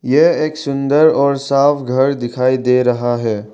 यह एक सुंदर और साफ घर दिखाई दे रहा है।